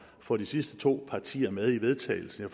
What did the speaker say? få de sidste to partier med i vedtagelsen